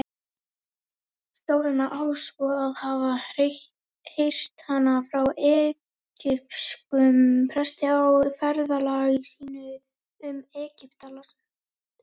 Sólon á svo að hafa heyrt hana frá egypskum presti á ferðalagi sínu um Egyptaland.